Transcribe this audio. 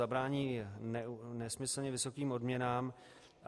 Zabránění nesmyslně vysokým odměnám.